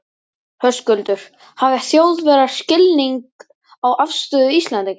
Höskuldur: Hafa Þjóðverjar skilning á afstöðu Íslendinga?